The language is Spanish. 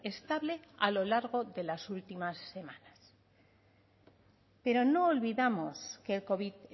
estable a lo largo de las últimas semanas pero no olvidamos que el covid